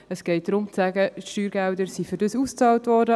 Es geht darum, zu sagen, dass die Steuergelder dafür ausbezahlt wurden;